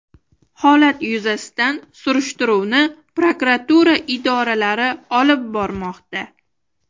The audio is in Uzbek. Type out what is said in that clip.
Holat yuzasidan surishtiruvni prokuratura idoralari olib bormoqda.